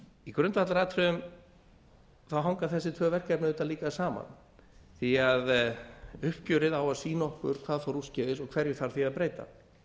í grundvallaratriðum hanga þessi tvö verkefni auðvitað líka saman því að uppgjörið á að sýna okkur hvað fór úrskeiðis og hverju þarf því að breyta